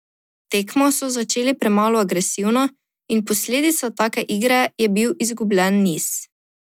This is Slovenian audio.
Tekmo so začele premalo agresivno in posledica take igre je bil izgubljen niz.